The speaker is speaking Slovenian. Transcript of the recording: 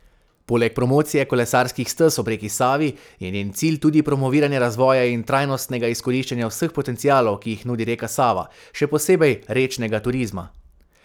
Poleg promocije kolesarskih stez ob reki Savi je njen cilj tudi promoviranje razvoja in trajnostnega izkoriščanja vseh potencialov, ki jih nudi reka Sava, še posebej rečnega turizma.